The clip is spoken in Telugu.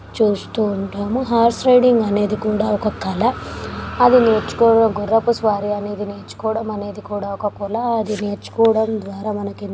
చూస్తూ ఉంటాము హార్స్ రైడింగ్ అనేది కూడా ఒక కల. అది నేర్చుకోవడం గుర్రపు సవారి అనేది నేర్చుకోవడం అనేది కూడా ఒక కల. అది నేర్చుకోవడం ద్వారా మనకి --